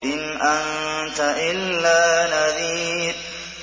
إِنْ أَنتَ إِلَّا نَذِيرٌ